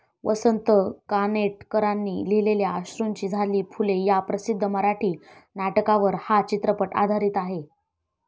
वसंत कानेटकरांनी लिहिलेल्या अश्रूंची झाली फुले ह्या प्रसिद्ध मराठी नाटकावर हा चित्रपट आधारित आहे.